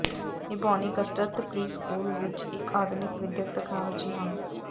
ਨਿਭਾਉਣੀ ਕਸਰਤ ਪ੍ਰੀਸਕੂਲ ਵਿਚ ਇਕ ਆਧੁਨਿਕ ਵਿਦਿਅਕ ਤਕਨਾਲੋਜੀ ਹਨ